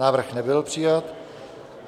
Návrh nebyl přijat.